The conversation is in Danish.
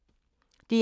DR1